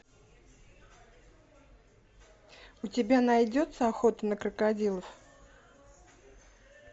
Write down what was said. у тебя найдется охота на крокодилов